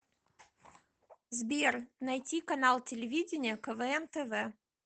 сбер найти канал телевидения квн тв